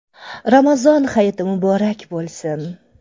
Ramazon Hayiti muborak bo‘lsin!